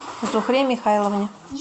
зухре михайловне